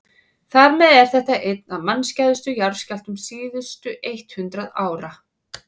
þar með er þetta einn af mannskæðustu jarðskjálftum síðustu eitt hundruð ára